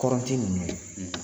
Kɔrɔn ti munun ye.